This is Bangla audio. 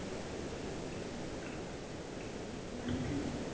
বাড়ি থেকে